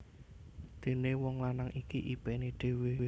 Dené wong lanang iki ipené dhewé